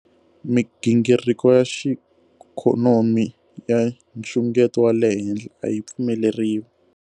Migingiriko ya xiikho nomi ya nxungeto wa le henhla a yi pfumeleriwi.